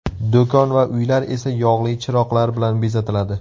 Do‘kon va uylar esa yog‘li chiroqlar bilan bezatiladi.